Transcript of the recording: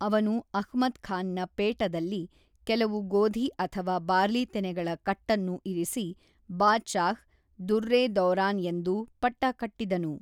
ಅವನು ಅಹ್ಮದ್ ಖಾನ್‌ನ ಪೇಟದಲ್ಲಿ ಕೆಲವು ಗೋಧಿ ಅಥವಾ ಬಾರ್ಲಿ ತೆನೆಗಳ ಕಟ್ಟನ್ನು ಇರಿಸಿ ಬಾದಶಾಹ್, ದುರ್ರ್-ಇ-ದೌರಾನ್ ಎಂದು ಪಟ್ಟ ಕಟ್ಟಿದನು.